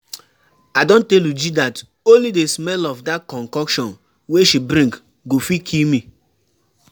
I don tell Uju dat only the smell of dat concoction wey she bring go fit kill me